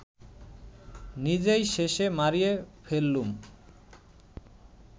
নিজেই শেষে মাড়িয়ে ফেললুম